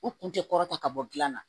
U kun tɛ kɔrɔtan bɔ gilan na